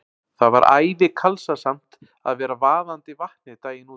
Það var æði kalsasamt að vera vaðandi Vatnið daginn út og inn.